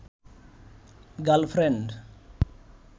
girlfriend